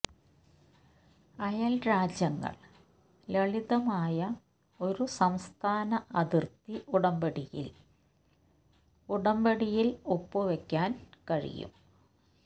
അയൽരാജ്യങ്ങൾ ലളിതമായ ഒരു സംസ്ഥാന അതിർത്തി ഉടമ്പടിയിൽ ഉടമ്പടിയിൽ ഒപ്പുവയ്ക്കാൻ കഴിയും